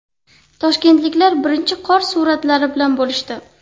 Toshkentliklar birinchi qor suratlari bilan bo‘lishdi.